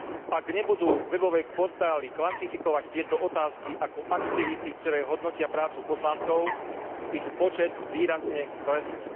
Ak nebudú webové portály kvantifikovať tieto otázky ako aktivity, ktoré hodnotia prácu poslancov, ich počet výrazne klesne.